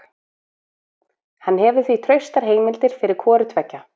Hann hefur því traustar heimildir fyrir hvoru tveggja.